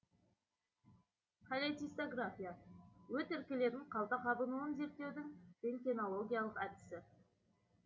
холецистография өт іркілетін қалта қабынуын зерттеудің рентгенологиялық әдісі